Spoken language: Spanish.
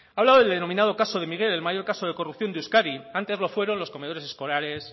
ha hablado del denominado caso de miguel el mayor caso de corrupción de euskadi antes lo fueron los comedores escolares